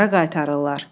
Hara qaytarırlar?